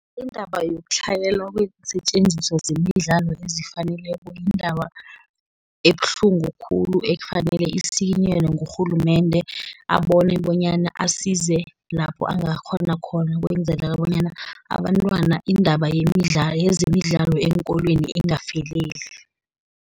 Indaba yokutlhayela kweensetjenziswa zemidlalo ezifaneleko yindaba ebuhlungu khulu, ekufanele isikinyelwe ngurhulumende, abone bonyana asize lapho angakghona khona, ukwenzela bonyana abantwana indaba yezemidlalo eenkolweni ingafeleli.